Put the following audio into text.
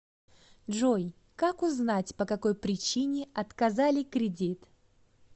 джой как узнать по какой причине отказали кредит